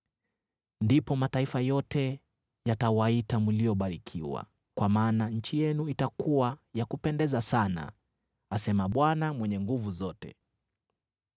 “Ndipo mataifa yote yatawaita mliobarikiwa, kwa maana nchi yenu itakuwa ya kupendeza sana,” asema Bwana Mwenye Nguvu Zote.